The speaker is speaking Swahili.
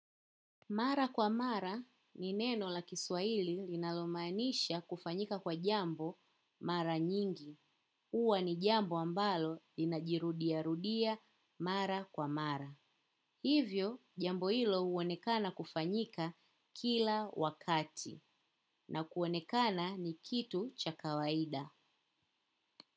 Mara kwa mara ni neno la kiswahili linalomaanisha kufanyika kwa jambo mara nyingi. Huwa ni jambo ambalo inajirudia rudia mara kwa mara. Hivyo jambo hilo huonekana kufanyika kila wakati na kuonekana ni kitu cha kawaida.